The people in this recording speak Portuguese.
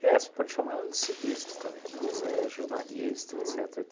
É, você pode chamar ela de ciclista também, né, mas aí é jornalista, etcetera,